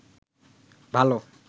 ভালো